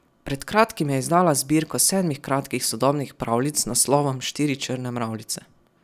Pred kratkim je izdala zbirko sedmih kratkih sodobnih pravljic z naslovom Štiri črne mravljice.